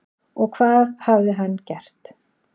Og hvað hafði hann gert?